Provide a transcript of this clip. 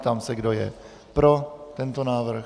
Ptám se, kdo je pro tento návrh.